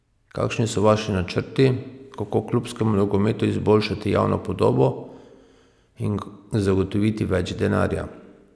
Kakšni so vaši načrti, kako klubskemu nogometu izboljšati javno podobo in zagotoviti več denarja?